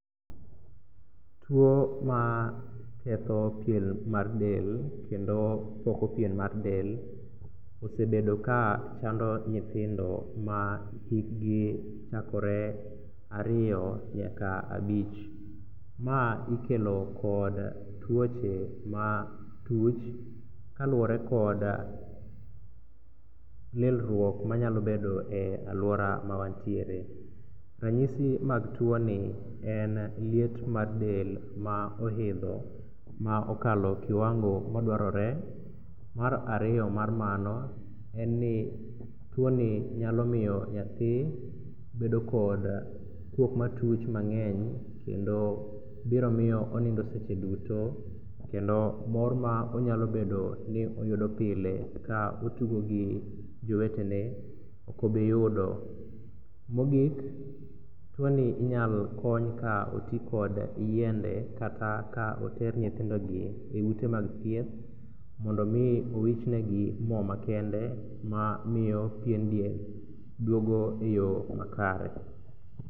Tuo ma ketho pien mar delmkendo poko pien mar del osebedo kachando nyithindo ma hikgi chaore ariyo nyaka abich. Ma ikelo kod tuoche ma tuch kaluwore kod lilruok manyalo bedo e aluora ma wantiere. Ranyi mag tioni en liet mar del ma oidho ma okalo kiwango ma dwarore. Mar ariyo mar mano, tuoni nyalo miyo nyathi bedo kod kuok matuch mang'eny kendo biro miyo onindo seche duto kendo mor ma onyalo bedo ni oyudo pile ka otugo gi jowetene ok obi yudo. Mogik tuoni inyalo kony ka oti kod yiende kata oter nyithindogi e ute mag thieth mondo mi owich ne gi mo makende mamiyo pien del duogo eyo makare